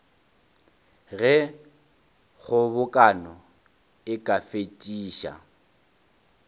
ge kgobokano e ka fetiša